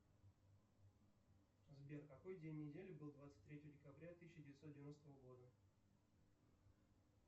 сбер какой день недели был двадцать третьего декабря тысяча девятьсот девяностого года